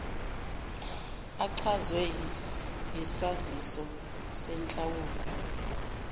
echazwe yisaziso senhlawulo